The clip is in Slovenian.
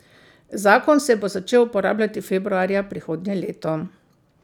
Zakon se bo začel uporabljati februarja prihodnje leto.